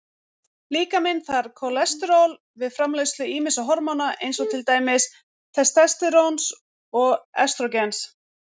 Líkaminn þarf kólesteról við framleiðslu ýmissa hormóna eins og til dæmis testósteróns og estrógens.